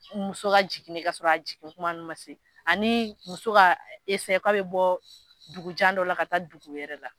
Muso ka jigin de kasɔrɔ a jigintuma ma se ani muso ka k'a bɛ bɔ dugujan dɔ la ka taa dugu wɛrɛ la